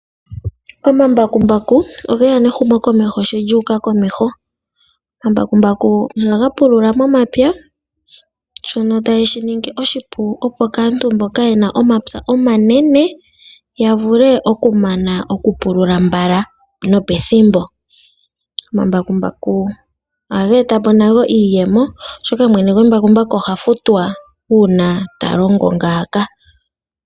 Omambakumbaku ogeya nehumo komeho sho lyuuka komeho. Omambakumbaku oha ga pulula momapya shono ta ye shiningi oshipu, opo aantu mboka yena omapya omanene yavule oku mana oku pulula mbala nopethimbo. Omambakumbaku oha ga eta po nago iiyemo oshoka, mwene gwembakumbaku oha futwa uuna talongo ngaaka.